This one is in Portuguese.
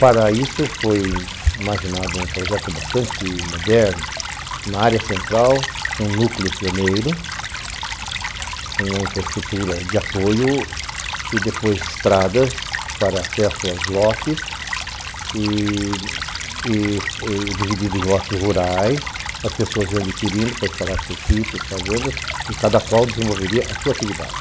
Para isso foi imaginado um projeto bastante moderno, na área central, um núcleo pioneiro, uma infraestrutura de apoio e depois estradas para acesso aos lotes e dividido em lotes rurais, as pessoas iam adquirindo para instalar seus sítios, fazendas e cada qual desenvolveria a sua atividade.